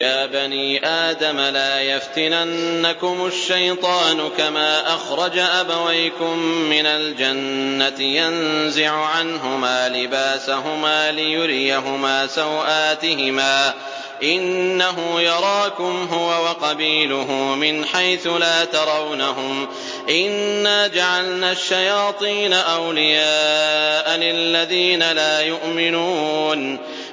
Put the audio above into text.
يَا بَنِي آدَمَ لَا يَفْتِنَنَّكُمُ الشَّيْطَانُ كَمَا أَخْرَجَ أَبَوَيْكُم مِّنَ الْجَنَّةِ يَنزِعُ عَنْهُمَا لِبَاسَهُمَا لِيُرِيَهُمَا سَوْآتِهِمَا ۗ إِنَّهُ يَرَاكُمْ هُوَ وَقَبِيلُهُ مِنْ حَيْثُ لَا تَرَوْنَهُمْ ۗ إِنَّا جَعَلْنَا الشَّيَاطِينَ أَوْلِيَاءَ لِلَّذِينَ لَا يُؤْمِنُونَ